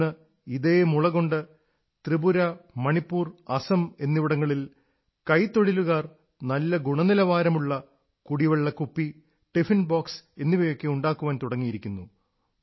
ഇന്ന് ഇതേ മുളകൊണ്ട് ത്രിപുര മണിപ്പൂർ അസം എന്നിവിടങ്ങളിൽ കൈത്തൊഴിലുകാർ നല്ല ഗുണനിലവാരമുള്ള കുടിവെള്ള കുപ്പി ടിഫിൻ ബോക്സ് എന്നിവയൊക്കെ ഉണ്ടാക്കാൻ തുടങ്ങിയിരിക്കുന്നു